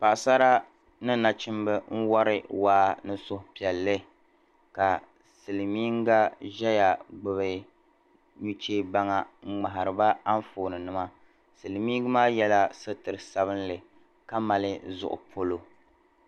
Paɣasara ni nachimba m wari waa ni suhupiɛlli ka silimiinga ʒiya gbubi nuchɛ baŋa ŋmariba anfoonima silimiinga maa yɛla sutur'sabinli ka mali zuɣu polo.